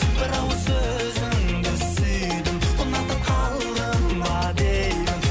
бір ауыз сөзіңді сүйдім ұнатып қалдым ба деймін